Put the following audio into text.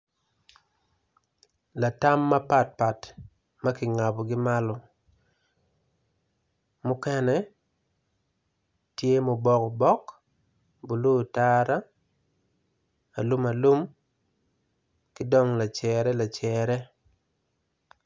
Latam ma pat pat makingabo gi malo mukene tye ma obok obok blue otara alum alum kidong lacere.